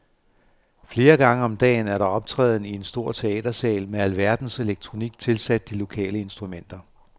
Flere gange om dagen er der optræden i en stor teatersal med alverdens elektronik tilsat de lokale instrumenter.